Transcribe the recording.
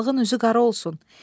Qocalığın üzü qara olsun.